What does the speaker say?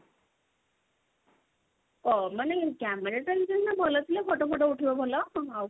ଓ ମାନେ camera ଟା ସିନା ଭଲ ଥିଲେ photo ଫୋଟୋ ଉଠିବ ଭଲ ଆଉ